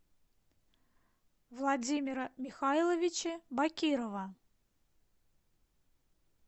владимира михайловича бакирова